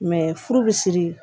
Mɛ furu bi siri